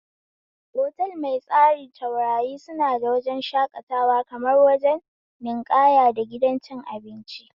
Otal mai tsari taurari suna da wajen shakatawa, kamar wajen ninƙaya da gidan cin abinci